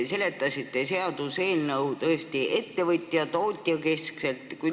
Te seletasite seaduseelnõu, lähtudes ettevõtjast, tootjast.